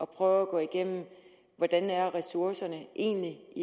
prøve at gennemgå hvordan ressourcerne egentlig